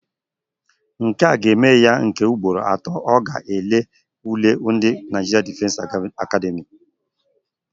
Nkea ga-eme ya nke ugboro atọ ọ ga-elele ule ndị Naịjirịan Difensi Akademị